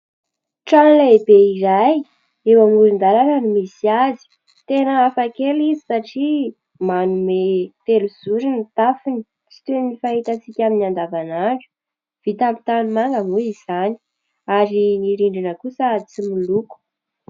Trano lehibe iray, eo amoron-dalana no misy azy. Tena hafakely izy satria manome telozoro ny tafony, tsy toy ny fahitantsika ny andavanandro. Vita amin'ny tanimanga moa izany ary ny rindrina kosa tsy miloko.